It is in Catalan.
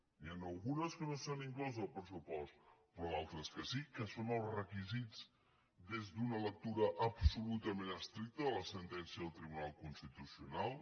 n’hi han algunes que no s’han inclòs al pressupost però d’altres que sí que són els requisits des d’una lectura absolutament estricta de la sentència del tribunal constitucional